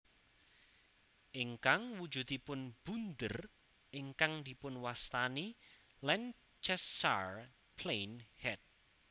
Ingkang wujudipun bunder ingkang dipunwastani Lancashire Plain Head